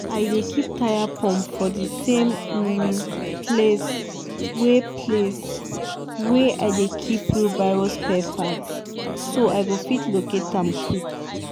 i dey keep tyre pump for di same um place wey place wey i dey keep wheelbarrow spare parts so i go fit locate am quick.